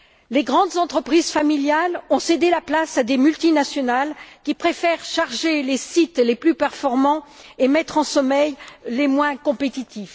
Les grandes entreprises familiales ont cédé la place à des multinationales qui préfèrent charger les sites les plus performants et mettre en sommeil les moins compétitifs.